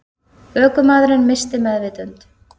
Ökumaðurinn missti meðvitund